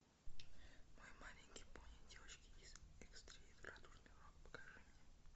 мой маленький пони девочки из эквестрии радужный рок покажи мне